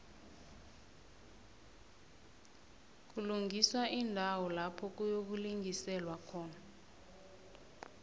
kulungiswa iindawo lapha kuyokulingiselwa khona